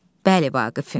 Bəli, Vaqifin.